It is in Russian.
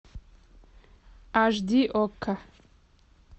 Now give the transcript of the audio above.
аш ди окко